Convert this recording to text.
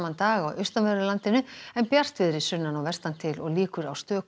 dag á austanverðu landinu en bjartviðri sunnan og vestan til og líkur á stöku